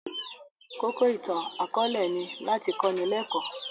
Kókó ìtàn akọ̀ọ̀lẹ ni láti kọ́ni lẹ́kọ̀